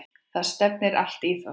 Það stefnir allt í það.